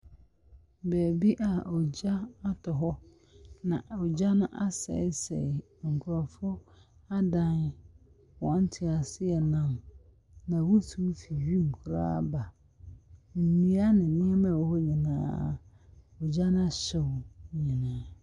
Baabi a ogya atɔ hɔ, na ogya no asɛesɛe nkurɔfoɔ adan, wɔn teaseɛnam, na wusiw fi wim koraa reba. Nnua ne nneɛma a ɛwɔ hɔ nyinaa, ogya no ahyew ne nyinaa.